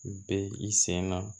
Bɛ i sen na